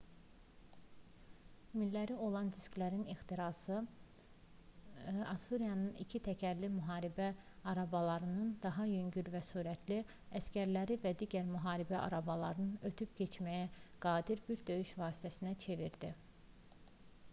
milləri olan disklərin ixtirası assuriyanın ikitəkərli müharibə arabalarını daha yüngül və sürətli əsgərləri və digər müharibə arabalarını ötüb keçməyə qadir bir döyüş vasitəsinə çevirdi